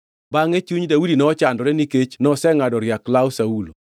Bangʼe chuny Daudi nochandore nikech nosengʼado riak law Saulo.